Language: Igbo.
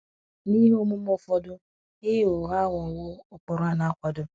N’ihe omume ụfọdụ ịgha ụgha aghọwo ụkpụrụ a na - akwado.